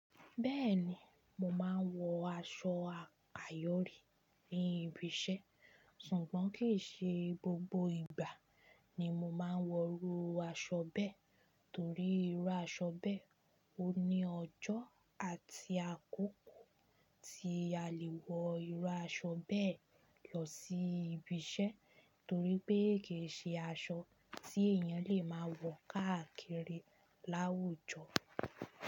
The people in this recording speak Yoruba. Bẹ́ẹ̀ni, mo máa ń wọ aṣọ ayọ̀ rí ní ibi iṣẹ́ sùgbọ́n kì í ṣe gbogbo ìgbà ni mo máa ń wọ irú aṣọ bẹ́ẹ̀ torí irú aṣọ bẹ́ẹ̀ ò ní ọjọ́ àti àkókò tí a lè wọ irú aṣọ bẹ́ẹ̀ lọ sí ibi iṣẹ́ torí pé kì í ṣe aṣọ tí èèyàn lè máa wọ káàkiri láwùjọ.